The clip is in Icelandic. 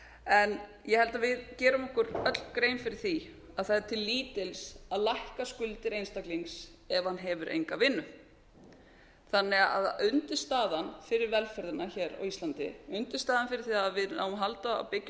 en ég held að við gerum okkur öll grein fyrir því að það er til lítils að lækka skuldir einstaklings ef hann hefur enga vinnu þannig að undirstaðan fyrir velferðina hér á íslandi undirstaðan fyrir því að við náum að halda að byggja